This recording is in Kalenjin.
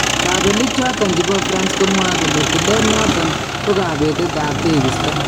Kabeliik choton chebo France komwae kole tileet noton " ko kabetetab tekistoo"